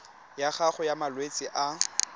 ya gago ya malwetse a